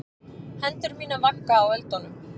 Hendur mínar vagga á öldunum.